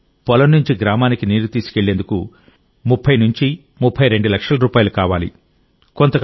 కానీ పొలం నుంచి గ్రామానికి నీరు తీసుకెళ్లేందుకు 3032 లక్షల రూపాయలు కావాలి